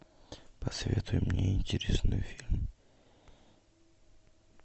посоветуй мне интересный фильм